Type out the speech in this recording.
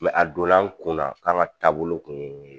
Mɛ a donna an kunna k'an ka taabolo kun ye